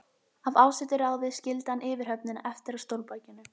Af ásettu ráði skildi hann yfirhöfnina eftir á stólbakinu.